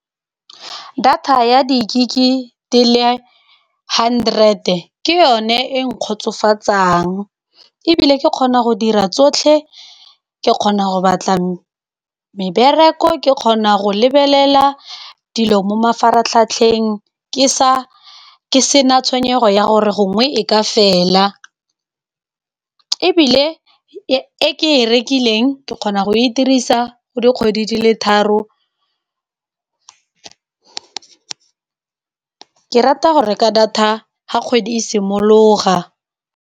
Data ya di-gig di le hundred, ke yone e nkgotsofatsang. Ebile ke kgona go dira tsotlhe, ke kgona go batla mebereko, ke kgona go lebelela dilo mo mafaratlhatlheng, ke sa ke sena tshwenyego ya gore gongwe e ka fela. Ebile e ke e rekileng ke kgona go e dirisa go dikgwedi dile tharo, ke rata go reka data ga kgwedi e simologa.